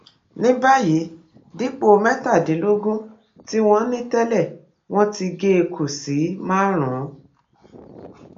ní báyìí dípò mẹtàdínlógún tí wọn ní tẹlẹ wọn ti gé e kù sí márùnún